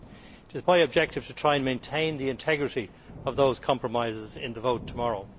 It is my objective to try to maintain the integrity of those compromises in the vote tomorrow.